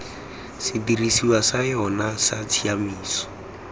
sedirisiwa sa yona sa tshiaimiso